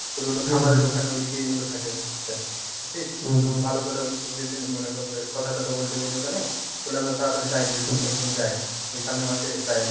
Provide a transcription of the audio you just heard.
তোর হলো খামারের ওখানে ঐদিকেই হলো থাকে বুঝছিস তো ভালো করে মনে করে কথা তথা বলতে বলি ওখানে হলে আমরা তাড়াতাড়ি যাই দুইজন একদিন যাই এই সামনে মাসে যাই।